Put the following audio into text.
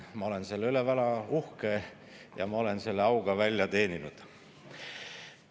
Ma olen selle üle väga uhke ja ma olen selle auga välja teeninud.